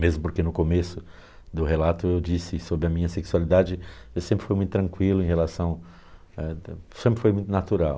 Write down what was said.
Mesmo porque no começo do relato eu disse sobre a minha sexualidade, eu sempre fui muito tranquilo em relação, sempre foi muito natural.